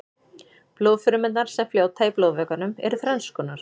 blóðfrumurnar sem fljóta í blóðvökvanum eru þrennskonar